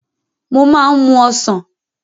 Mo máa ń mú Ọ̀sán.